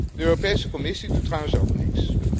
De Europese Commissie doet trouwens ook niks.